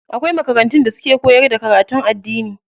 Akwai makarantun da suke koyar da karatun addini.